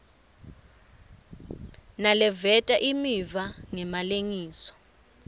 naleveta imiva ngemalengiso